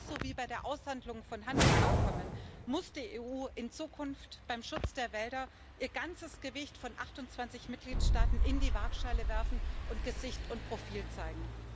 Genauso wie bei der Aushandlung von Handelsabkommen muss die EU in Zukunft beim Schutz der Wälder ihr ganzes Gewicht von 28 Mitgliedstaaten in die Waagschale werfen und Gesicht und Profil zeigen.